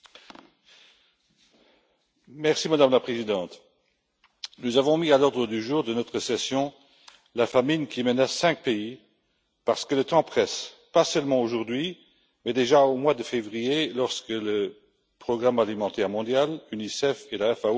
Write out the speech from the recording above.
Madame la Présidente, nous avons mis à l'ordre du jour de notre session la famine qui menace cinq pays car le temps presse, pas seulement aujourd'hui, mais déjà depuis le mois de février, lorsque le Programme alimentaire mondial, l'Unicef et la FAO ont fait état des premières victimes.